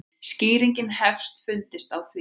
Skýring hefur fundist á því.